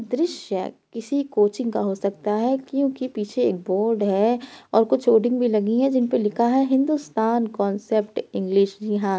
दृश्य किसी कोचिंग का हो सकता है क्योंकि पीछे एक बोर्ड है और कुछ होर्डिंग भी लगी हैं जिनपे लिखा है हिंदुस्तान कांसेप्ट इंग्लिश जी हाँ --